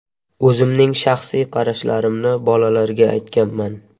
O‘zimning shaxsiy qarashlarimni bolalarga aytganman.